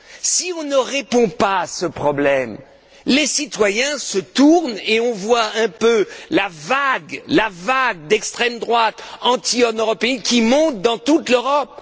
Si on ne répond pas à ce problème, les citoyens se détournent et l'on voit un peu la vague d'extrême droite anti européenne qui monte dans toute l'Europe.